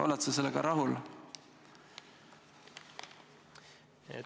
Oled sa sellega rahul?